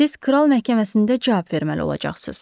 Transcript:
Siz kral məhkəməsində cavab verməli olacaqsınız.